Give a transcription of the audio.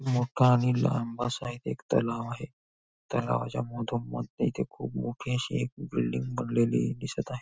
मोठा आणि लांब असा इथे एक तलाव आहे तलावाच्या मधोमध इथे खूप मोठी अशी एक बिल्डिंग बनलेली दिसत आहे.